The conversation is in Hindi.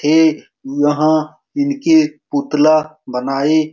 ये वह इनके पुतला बनाये --